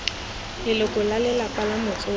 leloko la lelapa la motsofe